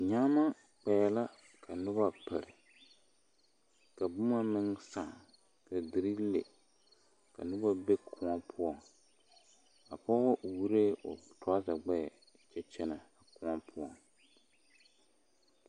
Nyaama kpɛɛ la ka noba pere ka boma meŋ sãã ka dere le ka noba be kõɔ poɔŋ a pɔge wuoree o toraza gbɛɛ kyɛ kyɛnɛ kõɔ poɔ.